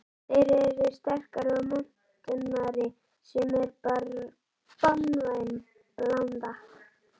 Þeir eru sterkari og montnari sem er banvæn blanda.